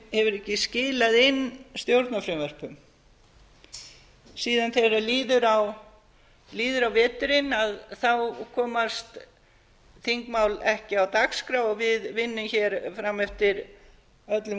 hefur ekki skilað inn stjórnarfrumvörpum síðan þegar líður á veturinn komast þingmál ekki á dagskrá og við vinnum hér fram eftir öllum